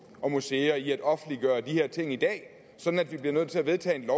og museer i at offentliggøre de her ting i dag sådan at vi bliver nødt til at vedtage et